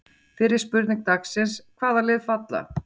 Fyrri spurning dagsins: Hvaða lið falla?